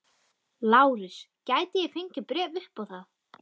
LÁRUS: Gæti ég fengið bréf upp á það?